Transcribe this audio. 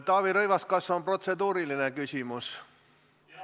Taavi Rõivas, kas see on protseduuriline küsimus?